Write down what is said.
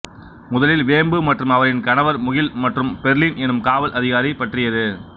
முதலில் வேம்பு மற்றும் அவரின் கணவர் முகில் மற்றும் பெர்லின் எனும் காவல் அதிகாரி பற்றியது